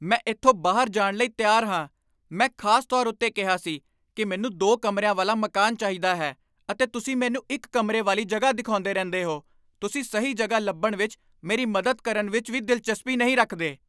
ਮੈਂ ਇੱਥੋਂ ਬਾਹਰ ਜਾਣ ਲਈ ਤਿਆਰ ਹਾਂ। ਮੈਂ ਖ਼ਾਸ ਤੌਰ ਉੱਤੇ ਕਿਹਾ ਸੀ ਕਿ ਮੈਨੂੰ ਦੋ ਕਮਰਿਆ ਵਾਲਾ ਮਕਾਨ ਚਾਹੀਦਾ ਹੈ ਅਤੇ ਤੁਸੀਂ ਮੈਨੂੰ ਇੱਕ ਕਮਰੇ ਵਾਲੀ ਜਗ੍ਹਾ ਦਿਖਾਉਂਦੇ ਰਹਿੰਦੇ ਹੋ। ਤੁਸੀਂ ਸਹੀ ਜਗ੍ਹਾ ਲੱਭਣ ਵਿੱਚ ਮੇਰੀ ਮਦਦ ਕਰਨ ਵਿੱਚ ਵੀ ਦਿਲਚਸਪੀ ਨਹੀਂ ਰੱਖਦੇ।